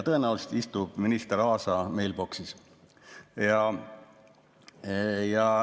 Tõenäoliselt istub see minister Aasa meilboksis.